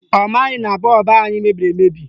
Ọ maghị na bọọbụ anyị mebiri emebi